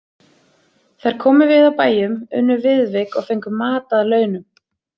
Þær komu við á bæjum, unnu viðvik og fengu mat að launum.